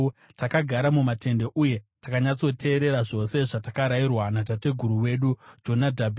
Takagara mumatende uye takanyatsoteerera zvose zvatakarayirwa natateguru wedu Jonadhabhi.